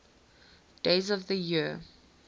days of the year